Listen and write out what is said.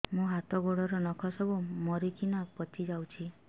ମୋ ହାତ ଗୋଡର ନଖ ସବୁ ମରିକିନା ପଚି ଯାଉଛି